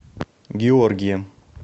георгием